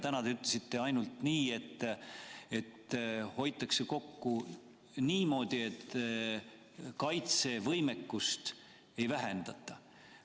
Täna te ütlesite ainult, et kokku hoitakse niimoodi, et kaitsevõimekust ei vähendata.